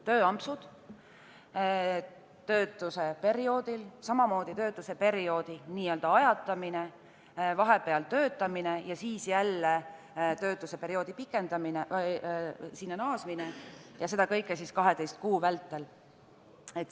Tööampsud töötuse perioodil, samamoodi töötuse perioodi n-ö ajatamine, vahepeal töötamine ja siis jälle töötuse perioodile naasmine ning seda kõike 12 kuu vältel.